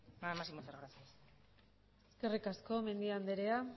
nada más y muchas gracias eskerrik asko mendia andrea